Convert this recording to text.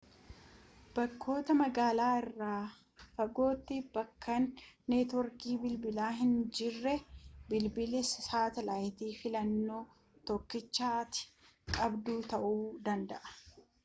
bakkoota magaalaa irra fagootti bakka neetworkiin bilbilaa hin jirretti bilbilli saatalayitii filannoo tokkicha ati qabdu ta'uu danda'a